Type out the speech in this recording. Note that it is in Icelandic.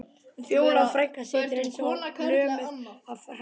Fjóla frænka situr eins og lömuð af hræðslu.